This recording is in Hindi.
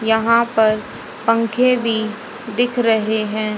यहां पर पंखे भी दिख रहे हैं।